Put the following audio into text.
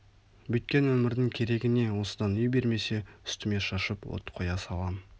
бүйткен өмірдің керегі не осыдан үй бермесе үстіме шашып от қоя салам